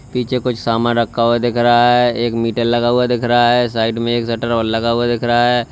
पीछे कुछ सामान रखा हुआ दिख रहा है एक मीटर लगा हुआ दिख रहा है साइड में एक शटर लगा हुआ दिख रहा है।